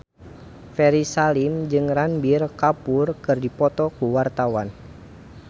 Ferry Salim jeung Ranbir Kapoor keur dipoto ku wartawan